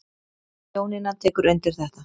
Jónína tekur undir þetta.